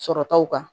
Sɔrɔtaw kan